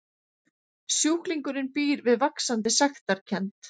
Sjúklingurinn býr við vaxandi sektarkennd.